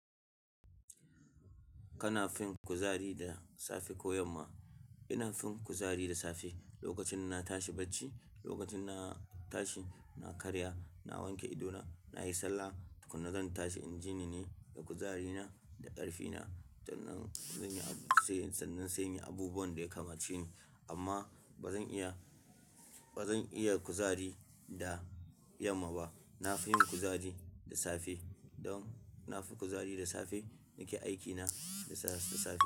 Kana fin kuzari da safe ko yamma? Ina fin kuzari da safe. Lokacin na tashi bacci, lokacin na tashi, na karya, na wanke idona, na yi sallah tukuna zan tashi inji ni ne da kuzarina da ƙarfina, sannan zan yi abu sai sannan sai in yi abubuwan da ya kamace ni. Amma ba zan iya, ba zan iya kuzari da yamma ba. Na fi yin kuzari da safe don na fi kuzari da safe na ke aikina da safe.